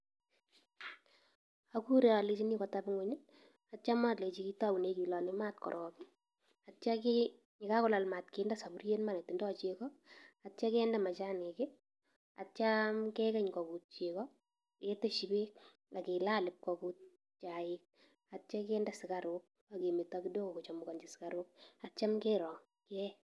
Agure alechini kotab ing'uny, atio malechi kitoune kilole maat korok, atio ki ye kagolal maat kinde saburiet ma netindoi chego, atio kende machanik, atio kegeny kogut chego, keteshi beek ak kilal ibkogut chaik atio kinde sugaruk agemeto kidogo kochemkanji sugaruk, atio kerong kee.